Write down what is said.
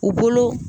U bolo